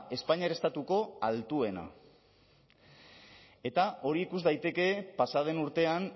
espainiar estatuko altuena eta hori ikus daiteke pasa den urtean